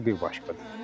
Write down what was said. Ağ şanı bir başqadır.